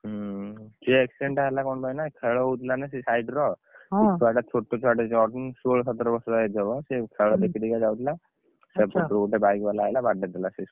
ହୁଁ ସେ accident ଟା ହେଲା କଣ ପାଇଁ ନା ଖେଳ ହଉଥିଲା ନା ସେ side ର ସେ ଛୁଆ ଟାଛୋଟ ଛୁଆ ଟା ଷୋହଳ ସତର ବର୍ଷ ର ହେଇଥିବ ସେ ଖେଳ ଦେଖି ଦେଖିକା ଯାଉଥିଲା ସେପଟୁ ଗୋଟେ bike ବାଲା ଆଇଲା ବାଡ଼େଇ ଦେଲା ସେ